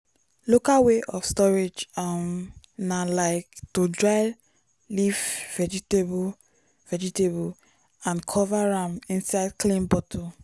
local way of storage um na like to dry leaf vegetable vegetable and cover am inside clean bottle.